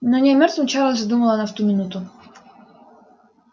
но не о мёртвом чарлзе думала она в эту минуту